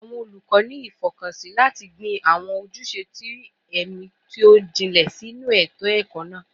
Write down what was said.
Awọn olukọ ni ifọkansi lati gbin awọn ojuse ti ẹmi ti o jinlẹ sinu eto-ẹkọ naa